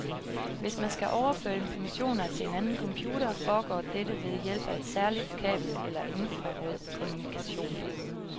Hvis man skal overføre informationer til en anden computer, foregår dette ved hjælp af et særligt kabel eller infrarød kommunikation.